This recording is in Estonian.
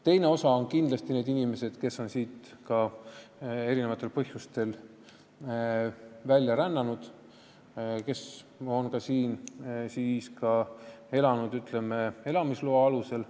Teine osa on kindlasti need inimesed, kes on siit erinevatel põhjustel välja rännanud ja kes on siin elanud elamisloa alusel.